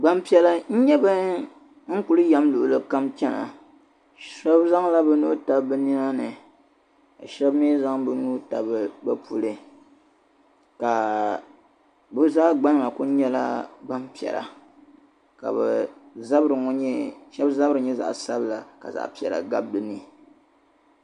Gbanpiɛla n nye ban kuli n yɛm luɣuli kam chana shɛbi zaŋla bi nuhi tabi bi nyɔrini ka shɛbi mi zaŋ bi nuhi tabi bɛ puli ka bɛ zaa gbana kuli nyela gbanpiɛla ka shɛbi zabiri nye zaɣsabinli ka zaɣpiɛla gabi di ni.